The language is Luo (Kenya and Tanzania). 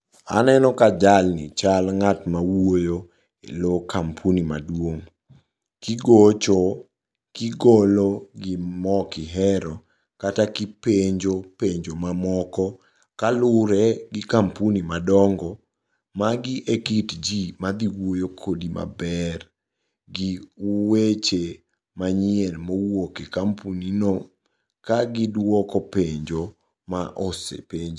Aneno ka jalni nyal ng'at ma wuoyo low kampuni maduong'. Kigocho kigolo gimok ihero kata kipenjo penjo mamoko kalure gi kampuni madongo, magi e kit ji madhi wuoyo kodi maber gi weche manyien mowuoke kampuni no kagiduoko penjo ma osepenj.